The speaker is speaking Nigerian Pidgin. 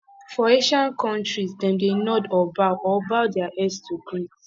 for asian countries dem dey nod or bow or bow their head to greet